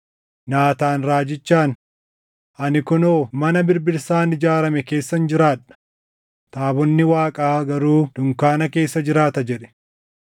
Naataan raajichaan, “Ani kunoo mana birbirsaan ijaarame keessan jiraadha; taabonni Waaqaa garuu dunkaana keessa jiraata” jedhe.